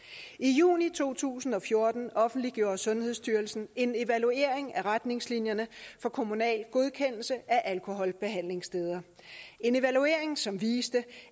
i juni to tusind og fjorten offentliggjorde sundhedsstyrelsen en evaluering af retningslinjerne for kommunal godkendelse af alkoholbehandlingssteder en evaluering som viste